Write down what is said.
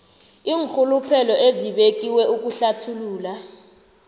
iinrhuluphelo ezibekiwe ukuhlathulula